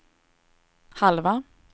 halva